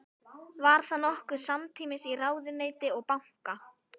Var það nokkuð samtímis í ráðuneyti og banka.